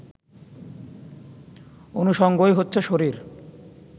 অনুষঙ্গই হচ্ছে শরীর